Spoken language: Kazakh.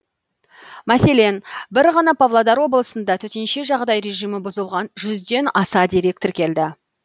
мәселен бір ғана павлодар облысында төтенше жағдай режимі бұзылған жүзден аса дерек тіркелді